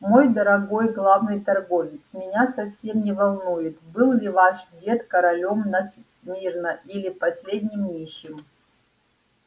мой дорогой главный торговец меня совсем не волнует был ли ваш дед королём на смирно или последним нищим